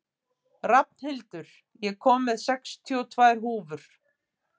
Rafnhildur, ég kom með sextíu og tvær húfur!